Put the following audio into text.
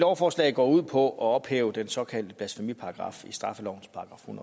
lovforslag går ud på at ophæve den såkaldte blasfemiparagraf i straffelovens § en